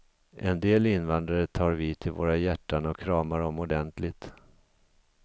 En del invandrare tar vi till våra hjärtan och kramar om ordentligt.